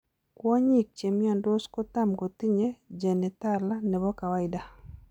Kwonyik chemiondos kotam kotinye genitala nebo kawaida